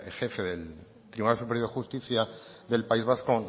jefe del tribunal superior de justicia del país vasco